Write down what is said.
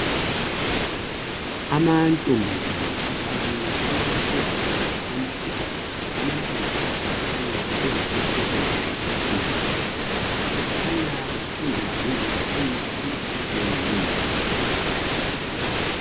Amantombazana afake amalab coat amhlophe. Amantombazana akhanya bengabe secondary school. Kukhanya bafunda ngeze khemisti lengemithi.